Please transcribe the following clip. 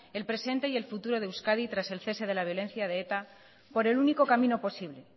el presente y el futuro de euskadi tras el cese de la violencia de eta por el único camino posible